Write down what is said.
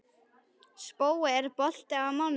Spói, er bolti á mánudaginn?